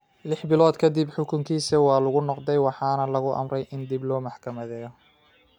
Lix bilood ka dib, xukunkiisii ​​waa laga noqday, waxaana la amray in dib loo maxkamadeeyo.